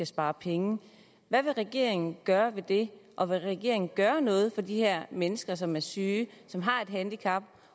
spare penge hvad vil regeringen gøre ved det og vil regeringen gøre noget for de her mennesker som er syge som har et handicap